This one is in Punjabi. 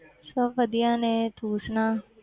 ਸਭ ਵਧੀਆ ਨੇ ਤੂੰ ਸੁਣਾ।